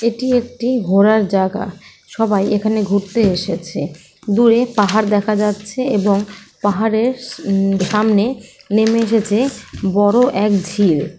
এটি একটি ঘোরার জাগা সবাই এখানে ঘুরতে এসেছে দূরে পাহাড় দেখা যাচ্ছে এবং পাহাড়ের সা উ সামনে নেমে এসেছে বড় এক ঝিল।